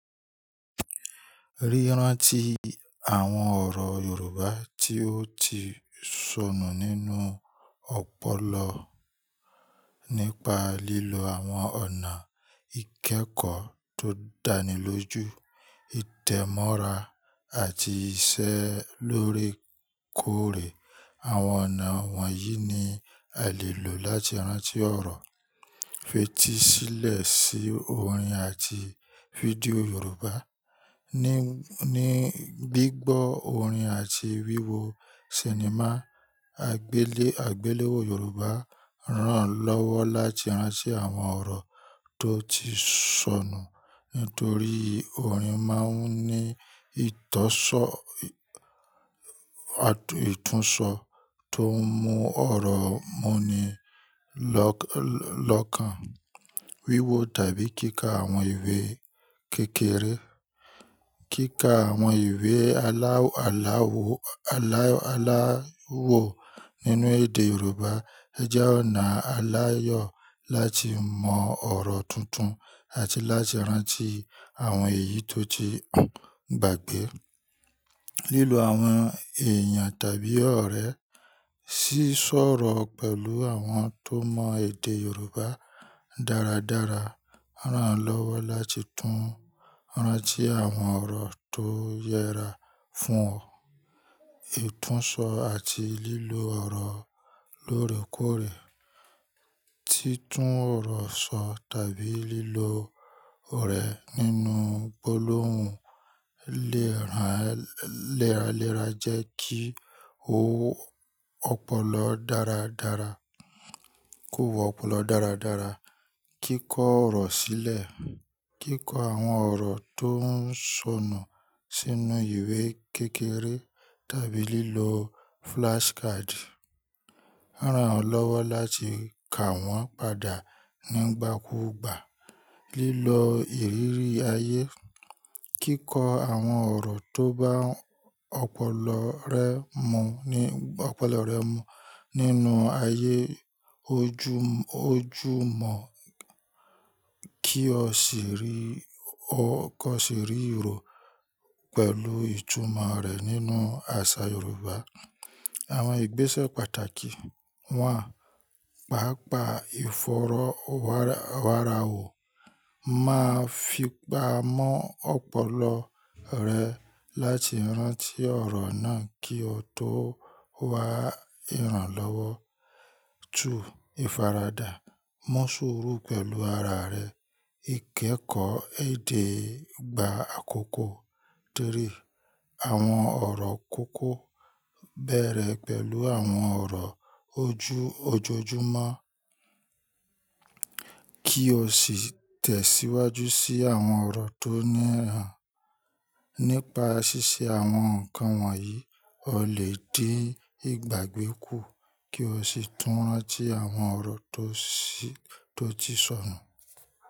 Ríran ti àwọn ọ̀rọ̀ Yorùbá tí ó ti sọnù nínú ọpọlọ nípa lílo àwọn ọ̀nà ìkẹ́kọ̀ọ́ tó dánilójú, ìtẹ̀mọ́ra àti ìṣe lórékòrè. Àwọn ọ̀nà wọ̀nyí ni a lè lò láti rántí ọ̀rọ̀. Fètísílẹ̀ sí orin àti fídíò Yorùbá ni. Ni gbígbọ́ orin àti wíwo sinimá àgbéléwò Yorùbá ran lọ́wọ́ láti rántí àwọn ọ̀rọ̀ tó ti sọnù. Nítorí orin máa ń ní ìtọ́sọ, ìtúnṣọ tó mú ọ̀rọ̀ mú ni lọ́kàn. Wíwo tàbí kíkà àwọn ìwé kékeré. Kíkà àwọn ìwé alá wọ nínú èdè Yorùbá jẹ́ ọ̀nà aláyọ̀ láti mọ ọ̀rọ̀ tuntun àti láti rántí àwọn èyí tó ti gbàgbé. Lílo àwọn èèyàn tàbí ọ̀rẹ́ sí sọ̀rọ̀ pẹ̀lú àwọn tó mọ èdè Yorùbá dáradára ran lọ́wọ́ láti tún rántí àwọn ọ̀rọ̀ tó yẹra fún ọ. Ìtúnṣọ àti lílo ọ̀rọ̀ lóòrèkòrè. Títún ọ̀rọ̀ sọ tàbí lílo orẹ̀ nínú gbólóhùn léraléra jẹ́ kí ó pòlọ dáradára, kó wọ́pọ̀lọ dáradára. Kíkọ ọ̀rọ̀ sílẹ̀. Kíkọ àwọn ọ̀rọ̀ tó ń sọnù sínú ìwé kékeré tàbí lílo flashcard ran lọ́wọ́ láti kà wọ́n padà nígbàkúgbà. Lílo ìrírí ayé. Kíkọ àwọn ọ̀rọ̀ tó bá ọ̀pọ̀lọ rẹ mu nínú ayé ojúmọ́ kí ó sì rí ìró pẹ̀lú ìtumọ̀ rẹ̀ nínú àṣà Yorùbá. Àwọn ìgbésẹ̀ pàtàkì wọ̀n, pàápàá ìfọ̀rọ̀ wàràwọ̀ máa fi pamọ́ ọpọlọ rẹ láti rántí ọ̀rọ̀ náà kí ó tó wá ìrànlọ́wọ́. 2. Ìfaradà. Mọ́ sùúrù pẹ̀lú ara rẹ. Ìkẹ́kọ̀ọ́ èdè gba àkókò. 3. Àwọn ọ̀rọ̀ kókó bẹ̀rẹ̀ pẹ̀lú àwọn ọ̀rọ̀ ojojúmọ́ kí o sì tẹ̀síwájú sí àwọn ọ̀rọ̀ tó ní ìran. Nípa ṣíṣe àwọn nǹkan wọ̀nyí, o lè dé ìgbàgbé kù kí o sì tún rántí àwọn ọ̀rọ̀ tó ti sọnù.